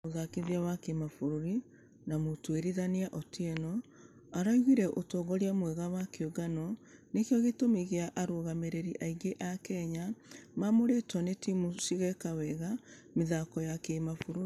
Mũthakithia wa kĩmabũrũri na mũtũĩrithania otieno araugire ũtongoria mwega wa kĩũngano nĩkĩo gĩtũmi gĩa arũgamĩrĩri aingĩ a kenya maamũrĩtwo na timũ cigeka wega mĩthako ya kĩmabũrũri.